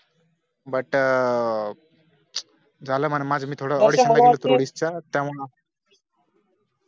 but अं झाला म्हणा माझं मी थोडं audition ला गेलो होतो थोडी इच्छा त्यामाण